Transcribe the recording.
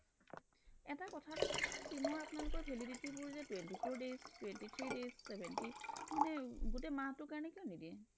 এটা কথা এটা কক চোন sim ৰ আপোনালোকৰ validity বোৰ যে twenty four days twenty three days seventy মানে গোটেই মাহটোৰ কাৰণে কিয় নিদিয়ে